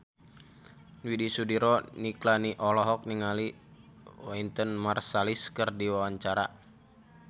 Widy Soediro Nichlany olohok ningali Wynton Marsalis keur diwawancara